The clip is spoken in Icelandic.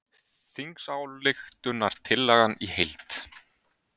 Þingsályktunartillagan í heild